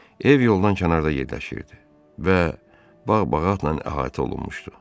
Ev yoldan kənarda yerləşirdi və bağ-bağatla əhatə olunmuşdu.